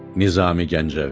Nizami Gəncəvi.